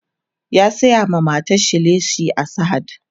ya saya ma matar sa leshi a sahad